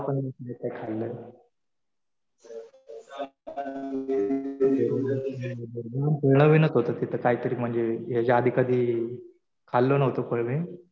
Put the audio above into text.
नवं फळ होतं ते खाल्लं. फळ नवीनच होतं तिथं काहीतरी म्हणज याच्या आधी कधी खाल्लं नव्हतं फळ मी .